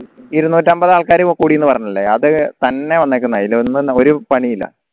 ഇരുന്നൂറ്റമ്പത് ആൾക്കാർ കൂടിന്ന് പറഞ്ഞില്ലേ അത് തന്നെ വന്നേക്കുന്ന അയല് ഒന്നും ഒരു പണിയുല്ല